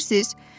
Bilirsiz?